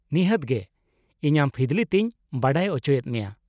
-ᱱᱤᱦᱟᱹᱛ ᱜᱮ, ᱤᱧ ᱟᱢ ᱯᱷᱤᱫᱽᱞᱤ ᱛᱮᱧ ᱵᱟᱰᱟᱭ ᱚᱪᱚᱭᱮᱫ ᱢᱮᱭᱟ ᱾